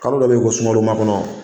Kalo dɔ b'ɛ yen ko sunkalo makɔnɔ